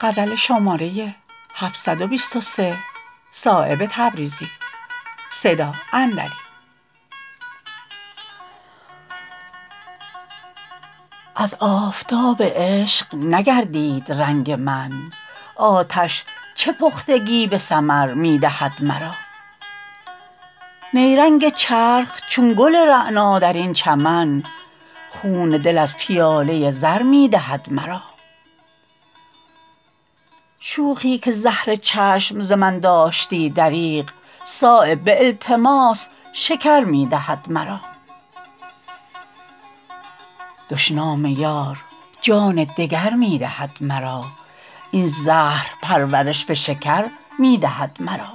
از آفتاب عشق نگردید رنگ من آتش چه پختگی به ثمر می دهد مرا نیرنگ چرخ چون گل رعنا درین چمن خون دل از پیاله زر می دهد مرا شوخی که زهر چشم ز من داشتی دریغ صایب به التماس شکر می دهد مرا دشنام یار جان دگر می دهد مرا این زهر پرورش به شکر می دهد مرا